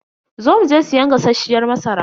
Zo mu je siyan gasasshiyar masara.